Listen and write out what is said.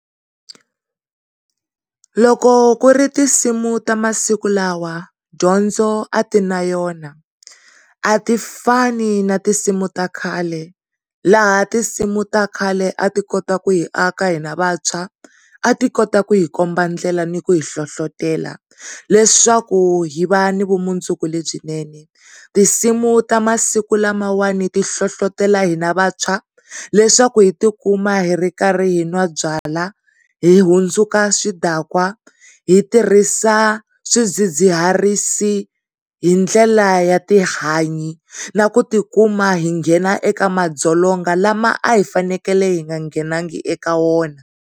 Loko ku ri tinsimu tamasiku lawa dyondzo a ti na yona a ti fani na tinsimu ta khale laha tinsimu ta khale a ti kota ku hi aka h hina vantshwa a ti kota ku hi komba ndlela ni ku hi nhlohlotelo leswaku hi va ni vumundzuku lebyinene. Tinsimu ta masiku lamawani ti hlohlotelo hina vantshwa leswaku hi tikuma hi ri khari hi n'wa byalwa hi hundzuka swidankwa, hi tirhisa swidzidziharisi hi ndlela ya tihanyi na ku tikuma hi nghena eka madzolonga lama a hi fanekele hi nga nghenangi eka wona.